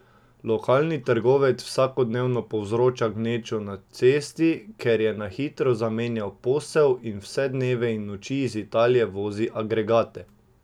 Lokalni trgovec vsakodnevno povzroča gnečo na cesti, ker je na hitro zamenjal posel in vse dneve in noči iz Italije vozi agregate.